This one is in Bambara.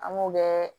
An m'o kɛ